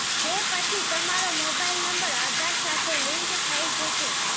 તે પછી તમારો મોબાઈલ નંબર આધાર સાથે લિંક થઈ જશે